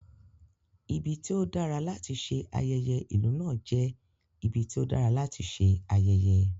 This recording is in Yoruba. Ibi tí ó dára láti ṣe ayẹyẹ ìlú náà jẹ́ ibi tí ó dára láti ṣe ayẹyẹ.